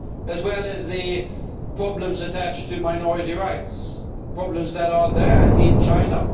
as well as the problems attached to minority rights, problems that are there in China.